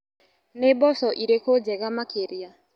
Nĩ mboco irĩkũ njega makĩria.